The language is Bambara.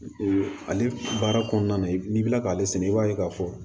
ale baara kɔnɔna na n'i bɛ k'ale sɛnɛ i b'a ye k'a fɔ